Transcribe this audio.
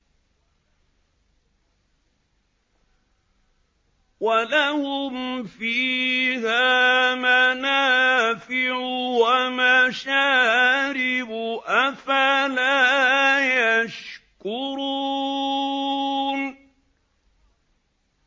وَلَهُمْ فِيهَا مَنَافِعُ وَمَشَارِبُ ۖ أَفَلَا يَشْكُرُونَ